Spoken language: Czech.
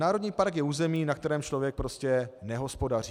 Národní park je území, na kterém člověk prostě nehospodaří.